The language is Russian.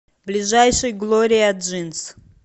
ближайший глория джинс